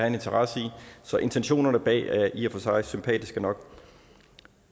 en interesse i så intentionerne bag er i og for sig sympatiske nok